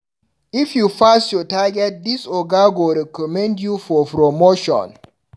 If you pass your target dis oga go recommend you for promotion.